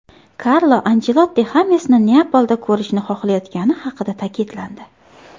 Karlo Anchelotti Xamesni Neapolda ko‘rishni xohlayotgani haqida ta’kidlandi.